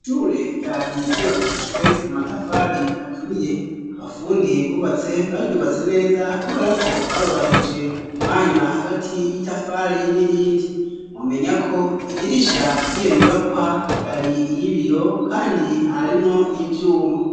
Ishure ryari yubakishijwe amatafari aturiye abafundi bubatse baryubatse neza kuberako barubahirije umwanya hagati y'itafari n'irindi. Mwomenyako idirisha ry'iyonyubakwa ryari iyibiyo kandi harimwo n'ivyuma.